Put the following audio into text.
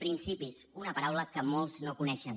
principis una paraula que molts no coneixen